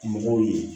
Mɔgɔw ye